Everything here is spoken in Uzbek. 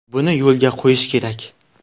Buni yo‘lga qo‘yish kerak.